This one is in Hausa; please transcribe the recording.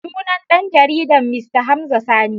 Sunan dan jaridar Mista Hamza Sani.